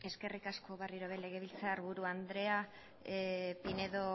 eskerrik asko berriro ere legebiltzarburu andrea pinedo